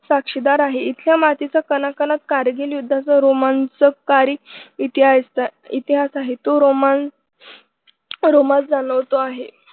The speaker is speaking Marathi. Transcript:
साक्षीदार आहे इथल्या मातीचा कणाकणात कारगिल युद्धाचा रोमांचक कारी इतिहा इतिहास आहे तो रोमांस रोमांचक जाणवतो आहे.